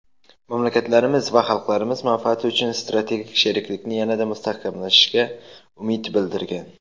mamlakatlarimiz va xalqlarimiz manfaati uchun strategik sheriklikni yanada mustahkamlashiga umid bildirilgan.